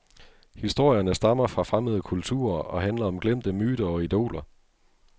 Historierne stammer fra fremmede kulturer og handler om glemte myter og idoler.